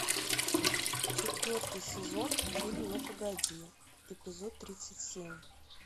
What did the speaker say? четвертый сезон фильм ну погоди эпизод тридцать семь